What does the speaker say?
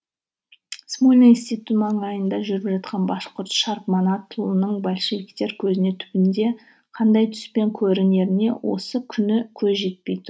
смольный институты маңайында жүріп жатқан башқұрт шарп манатұлының большевиктер көзіне түбінде қандай түспен көрінеріне осы күні көз жетпей